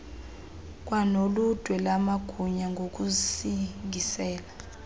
kwanoludwe lamagunya ngokusingisele